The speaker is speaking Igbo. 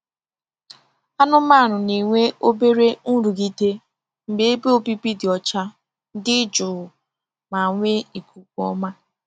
Anụmanụ na-enwe obere nrụgide mgbe ebe obibi dị ọcha, dị jụụ, ma nwee ikuku ọma.